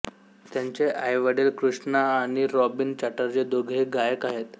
त्यांचे आईवडील कृष्णा आणि रॉबीन चटर्जी दोघेही गायक आहेत